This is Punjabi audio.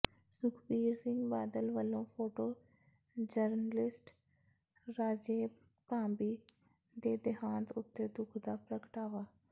ਸੁਖਬੀਰ ਸਿੰਘ ਬਾਦਲ ਵੱਲੋਂ ਫੋਟੋ ਜਰਨਲਿਸਟ ਰਾਜੇਸ਼ ਭਾਂਬੀ ਦੇ ਦੇਹਾਂਤ ਉੱਤੇ ਦੁੱਖ ਦਾ ਪ੍ਰਗਟਾਵਾ